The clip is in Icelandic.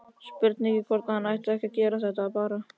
Spurning hvort hann ætti ekki að kæra þetta bara.